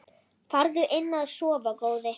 Farðu inn að sofa góði.